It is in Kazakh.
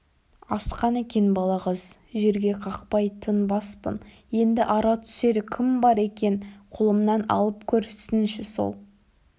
асқан екен балағаз жерге қақпай тынбаспын енді ара түсер кім бар екен қолымнан алып көрсінші сол